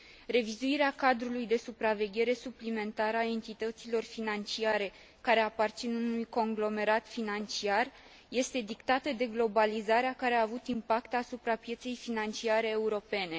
Revizuirea cadrului de supraveghere suplimentară a entităților financiare care aparțin unui conglomerat financiar este dictată de globalizarea care a avut impact asupra pieței financiare europene.